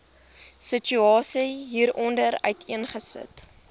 situasie hieronder uiteengesit